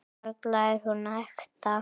Varla er hún ekta.